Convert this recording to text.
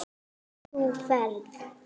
Þú ferð.